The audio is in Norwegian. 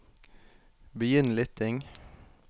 begynn lytting